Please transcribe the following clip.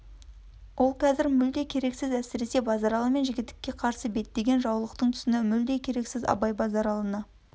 ол қазір мүлде керексіз әсіресе базаралы мен жігітекке қарсы беттеген жаулықтың тұсында мүлде керексіз абай базаралыны